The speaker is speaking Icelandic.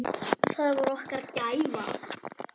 Það var okkar gæfa.